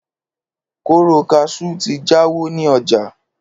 kóró kaṣú ti jáwọ́ ní ọjà